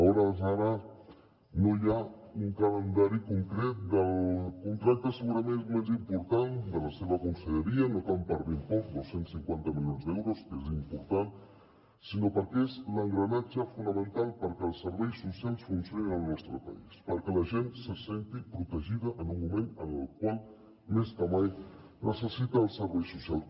a hores d’ara no hi ha un calendari concret del contracte segurament el més important de la seva conselleria no tant per l’import dos cents i cinquanta milions d’euros que és important sinó perquè és l’engranatge fonamental perquè els serveis socials funcionin al nostre país perquè la gent se senti protegida en un moment en el qual més que mai necessita els serveis socials